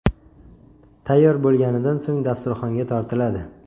Tayyor bo‘lganidan so‘ng dasturxonga tortiladi.